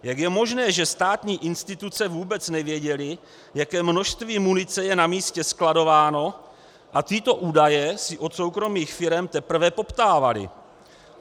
Jak je možné, že státní instituce vůbec nevěděly, jaké množství munice je na místě skladováno a tyto údaje si od soukromých firem teprve poptávaly?